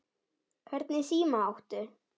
Hvernig síma áttu?